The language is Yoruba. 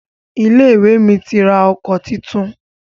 Ilé-ìwé mi ti ra ọkọ̀ titun.